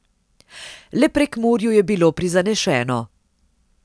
Le Prekmurju je bilo prizanešeno.